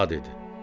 Bala dedi.